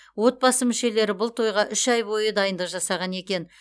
отбасы мүшелері бұл тойға үш ай бойы дайындық жасаған екен